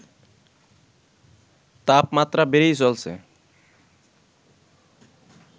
তাপমাত্রা বেড়েই চলছে